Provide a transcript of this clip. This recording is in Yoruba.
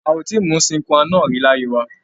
A ò tíì mu sine qua non rí láyé wa.